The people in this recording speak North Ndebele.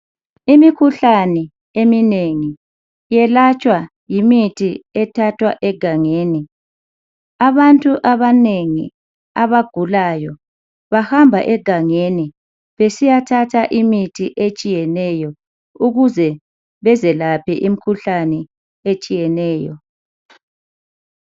Imikhuhlane eminengi iyelatshwa yimithi ethathwa egangeni abantu abanengi abagulayo bahamba egangeni besiyathatha imithi etshiyeneyo ukuze bezelaphe imikhuhlane etshiyeneyo